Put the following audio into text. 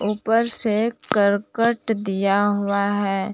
ऊपर से करकट दिया हुआ है।